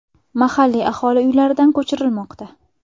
Mahalliy aholi uylaridan ko‘chirilmoqda.